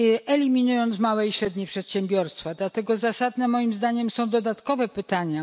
eliminując małe i średnie przedsiębiorstwa. Dlatego zasadne moim zdaniem są dodatkowe pytania.